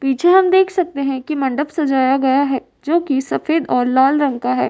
पीछे हम देख सकते हैं कि मंडप सजाया गया है जो कि सफ़ेद और लाल रंग का है।